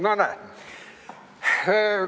No näed!